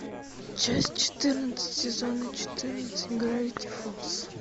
часть четырнадцать сезона четырнадцать гравити фолз